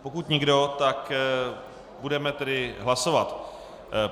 Pokud nikdo, tak budeme tedy hlasovat.